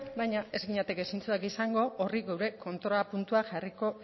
baina ez ginateke zintzoak izango horri geure kontrapuntua jarriko